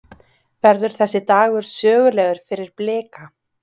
Verður þessi dagur sögulegur fyrir Blika?